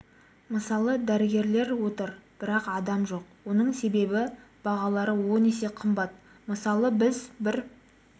мысалы дәрігерлер отыр бірақ адам жоқ оның себебі бағалары он есе қымбат мысалы біз бір